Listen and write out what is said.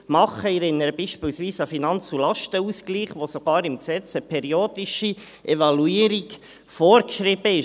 Ich erinnere beispielsweise an den Finanz- und Lastenausgleich, wo sogar im Gesetz eine periodische Evaluierung vorgeschrieben ist.